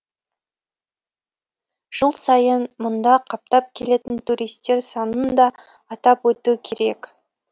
жыл сайын мұнда қаптап келетін туристер санын да атап өту керек